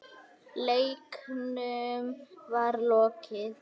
Leiknum var lokið.